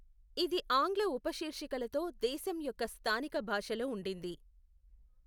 ఇది ఆంగ్ల ఉపశీర్షికలతో దేశం యొక్క స్థానిక భాషలో ఉండింది.